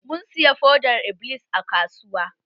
Mun siya fodar-iblis a kasuwa.